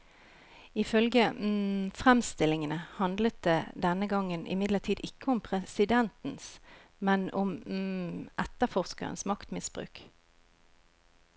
Ifølge fremstillingene handlet det denne gangen imidlertid ikke om presidentens, men om etterforskerens maktmisbruk.